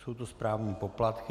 Jsou to správní poplatky.